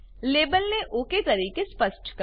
લેબલને okay તરીકે સ્પષ્ટ કરો